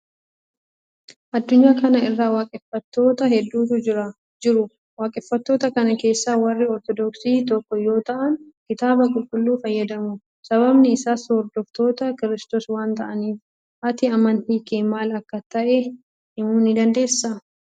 Addunyaa kana irra waaqeffatttoota hedduutu jiru. Waaqeffattoota kana keessa warri Ortodoksii tokko yoo ta'an, Kitaaba qulqulluu fayyadamu. Sababni isaas hordoftoota Kiristoos waan ta'aniif. Ati amantiin kee maal akka ta'e himuu ni dandeessaa?